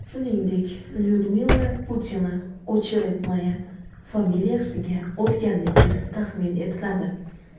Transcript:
Shuningdek, Lyudmila Putina Ocheretnaya familiyasiga o‘tganligi taxmin etiladi.